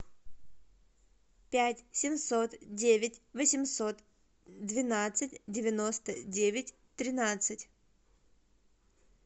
пять семьсот девять восемьсот двенадцать девяносто девять тринадцать